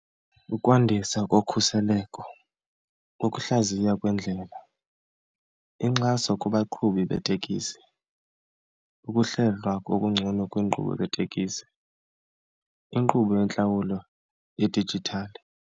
Ukwandisa kokhuseleko, ukuhlaziywa kwendlela, inkxaso kubaqhubi beetekisi, ukuhlelwa ngokungcono kwiinkqubo zeetekisi, inkqubo yentlawulo yedijithali.